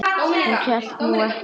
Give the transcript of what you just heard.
Hún hélt nú ekki.